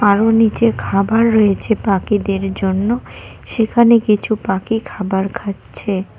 আরো নিচে খাবার রয়েছে পাখিদের জন্য সেখানে কিছু পাখি খাবার খাচ্ছে।